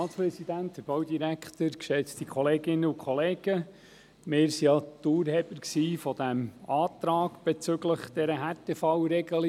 Wir waren die Urheber des Antrags bezüglich dieser Härtefallregelung.